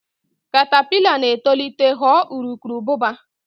katapila na-etolite ghọọ urukurubụba.